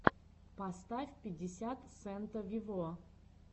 поставь пятьдесят сента вево